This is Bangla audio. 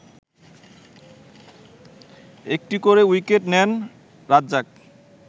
একটি করে উইকেট নেন রাজ্জাক